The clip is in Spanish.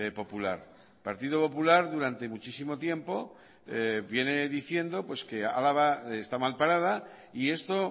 popular el partido popular durante muchísimo tiempo viene diciendo pues que álava está mal parada y esto